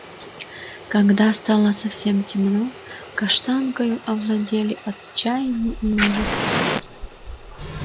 когда стало совсем темно каштанкою овладели отчаяние и ужас